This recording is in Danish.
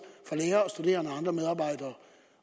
fra lærere studerende og andre medarbejdere